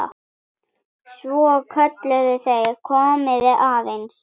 Svo kölluðu þeir: Komiði aðeins!